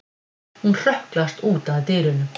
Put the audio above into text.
Hún hrökklast út að dyrunum.